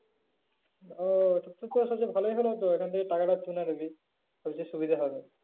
ও ভালোই হলো তো ওখান থেকে টাকাটা তুলে নিবি তোর সুবিধা হবে।